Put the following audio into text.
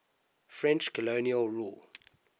french colonial rule